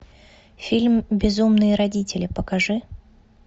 фильм безумные родители покажи